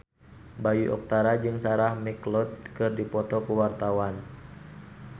Bayu Octara jeung Sarah McLeod keur dipoto ku wartawan